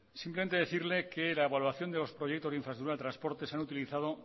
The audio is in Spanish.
simplemente decirle que en la evaluación de los proyectos de infraestructuras de transporte se han utilizado